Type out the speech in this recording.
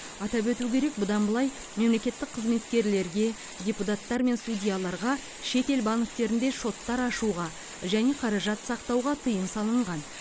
атап өту керек бұдан былай мемлекеттік қызметкерлерге депутаттар мен судьяларға шетел банктерінде шоттар ашуға және қаражат сақтауға тыйым салынған